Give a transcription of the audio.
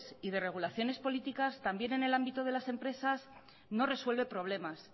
y de regulaciones políticas también en el ámbito de las empresas no resuelven problemas